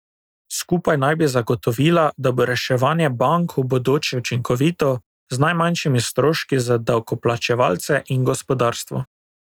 Skupaj naj bi zagotovila, da bo reševanje bank v bodoče učinkovito, z najmanjšimi stroški za davkoplačevalce in gospodarstvo.